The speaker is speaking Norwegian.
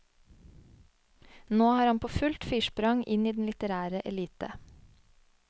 Nå er han på fullt firsprang inn i den litterære elite.